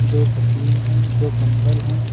दो तकिए हैं। दो कंबल हैं।